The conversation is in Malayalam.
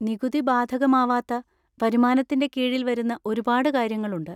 നികുതി ബാധകമാവാത്ത വരുമാനത്തിൻ്റെ കീഴിൽ വരുന്ന ഒരുപാട് കാര്യങ്ങളുണ്ട്.